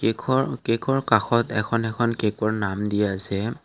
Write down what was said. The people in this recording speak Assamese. ঘৰ কেকৰ কাষত এখন এখন কেকৰ নাম দিয়া হৈছে।